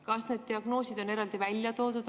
Kas need diagnoosid on eraldi välja toodud?